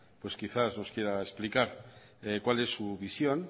pues quizás nos quiera explicar cuál es su visión